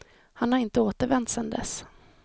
Han har inte återvänt sedan dess.